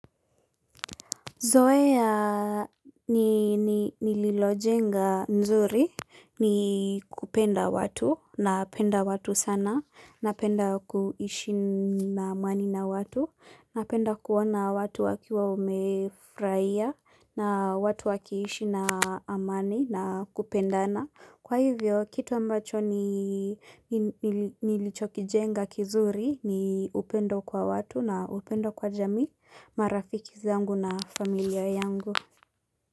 Zoea nililojenga nzuri ni kupenda watu napenda watu sana napenda kuishi na amani na watu napenda kuona watu wakiwa wamefraia na watu wakiishi na amani na kupendana Kwa hivyo, kitu ambacho nilichokijenga kizuri ni upendo kwa watu na upendo kwa jamii marafiki zangu na familia yangu.